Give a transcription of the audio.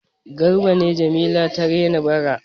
Garba ne Jamila ta rena bara.